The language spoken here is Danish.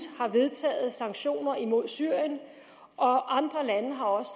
har vedtaget sanktioner imod syrien og andre lande har også